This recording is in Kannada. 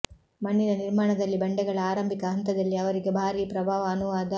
ಮಣ್ಣಿನ ನಿರ್ಮಾಣದಲ್ಲಿ ಬಂಡೆಗಳ ಆರಂಭಿಕ ಹಂತದಲ್ಲಿ ಅವರಿಗೆ ಭಾರೀ ಪ್ರಭಾವ ಅನುವಾದ